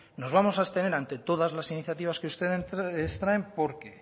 nos vamos abstener ante todas las iniciativas que ustedes traen porque